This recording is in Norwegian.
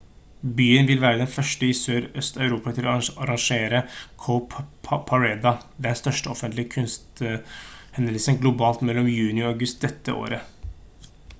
byen vil være den 1. i sør-øst-europa til å arrangere cowparade den største offentlige kunsthendelsen globalt mellom juni og august dette året